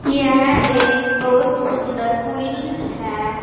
यह एक बहुत सुंदर पूल है।